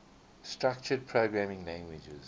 structured programming languages